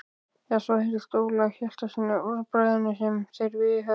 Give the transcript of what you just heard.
Eða svo heyrðist Ólafi Hjaltasyni af orðbragðinu sem þeir viðhöfðu.